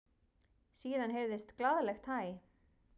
Síðan heyrðist glaðlegt hæ.